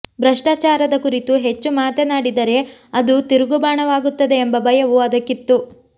ಭ್ರಷ್ಟಾಚಾರದ ಕುರಿತು ಹೆಚ್ಚು ಮಾತನಾಡಿದರೆ ಅದು ತಿರುಗುಬಾಣವಾಗುತ್ತದೆ ಎಂಬ ಭಯವೂ ಅದಕ್ಕಿತ್ತು